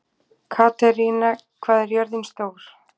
Katerína, hvað er jörðin stór?